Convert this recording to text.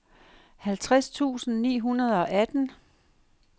halvtreds tusind ni hundrede og atten